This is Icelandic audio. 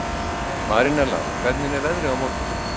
Marinella, hvernig er veðrið á morgun?